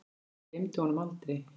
Ég gleymi honum aldrei.